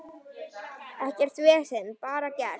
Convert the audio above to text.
Ekkert vesen, bara gert.